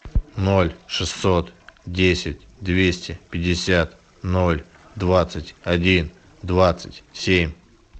ноль шестьсот десять двести пятьдесят ноль двадцать один двадцать семь